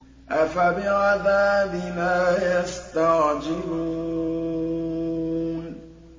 أَفَبِعَذَابِنَا يَسْتَعْجِلُونَ